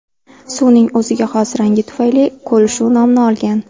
Suvning o‘ziga xos rangi tufayli ko‘l shu nomni olgan.